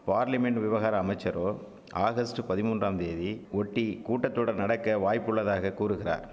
parliament விவகார அமைச்சரோ August பதிமூன்றாம் தேதி ஒட்டி கூட்டத்தொடர் நடக்க வாய்ப்புள்ளதாக கூறுகிறார்